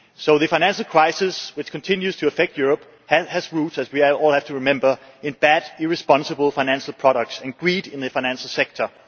The financial crisis which continues to affect Europe has its roots, as we all have to remember, in bad, irresponsible financial products and greed in the financial sector.